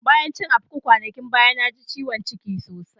Bayan cin akpu kwanakin baya, na ji ciwon ciki sosai.